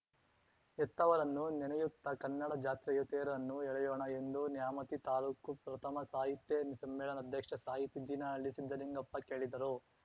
ಹೆತ್ತವರನ್ನು ನೆನೆಯುತ್ತಾ ಕನ್ನಡ ಜಾತ್ರೆಯ ತೇರನ್ನು ಎಳೆಯೋಣ ಎಂದು ನ್ಯಾಮತಿ ತಾಲೂಕು ಪ್ರಥಮ ಸಾಹಿತ್ಯ ಸಮ್ಮೇಳನಾಧ್ಯಕ್ಷ ಸಾಹಿತಿ ಜೀನಹಳ್ಳಿ ಸಿದ್ದಲಿಂಗಪ್ಪ ಕೇಳಿದರು